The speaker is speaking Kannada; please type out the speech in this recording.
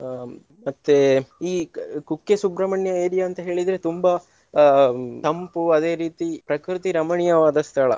ಹ್ಮ್ ಮತ್ತೇ ಈ ಕುಕ್ಕೆ ಸುಬ್ರಹ್ಮಣ್ಯ area ಅಂತ ಹೇಳಿದ್ರೆ ತುಂಬಾ ಅಹ್ ತಂಪು ಅದೇ ರೀತಿ ಪ್ರಕೃತಿ ರಮಣೀಯವಾದ ಸ್ಥಳ.